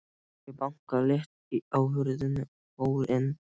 Ég bankaði létt á hurðina og fór inn.